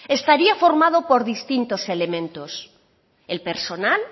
estaría formado por distintos elementos el personal